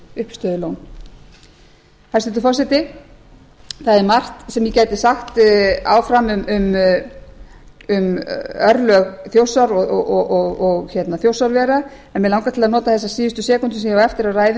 uppistöðulón hæstvirtur forseti það er margt sem ég gæti sagt áfram um örlög þjórsár og þjórsárvera en mig langar til að nota þessar síðustu sekúndur sem ég á eftir af ræðu